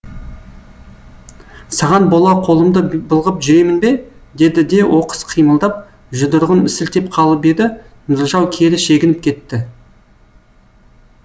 саған бола қолымды былғап жүремін бе деді де оқыс қимылдап жұдырығын сілтеп қалып еді нұржау кері шегініп кетті